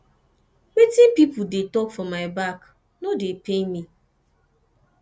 wetin pipu dey talk for my back no dey pain me